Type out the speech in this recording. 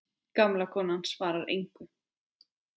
Gamla konan svarar engu.